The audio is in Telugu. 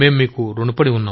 మేం మీకు ఋణపడి ఉన్నాం